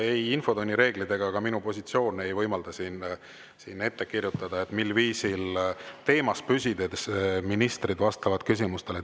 Ei infotunni reeglid ega ka minu positsioon ei võimalda siin ette kirjutada, mil viisil teemas püsides ministrid vastavad küsimustele.